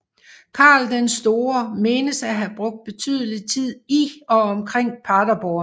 Karl den Store menes at have brugt betydelig tid i og omkring Paderborn